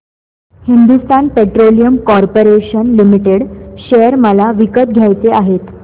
Hindustan petroleum corporation limited share मला विकत घ्यायचे आहेत